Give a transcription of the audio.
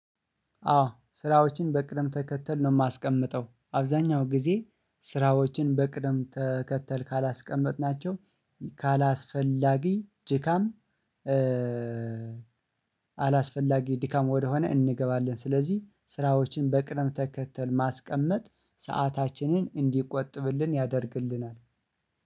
አዎ ስራዎች በቅደም ተከተል ነው ማስቀምጠው አብዛኛው ጊዜ ስራዎችን በቅደም ተከተል ካለስቀመጥናቸው ካለስፈለጊ ድካም። አለስፈለጊ ድካም ወደሆነ እንገባለን ስለዚህ ስራዎችን በቅደም ተከተል ማስቀመጥ። ሰአታችንን እንድቆጥብልን ያደርጋል።